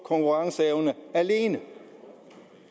konkurrenceevne alene